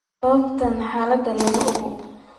Sababta xaaladan lama oga.